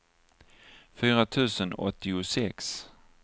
fyra tusen åttiosex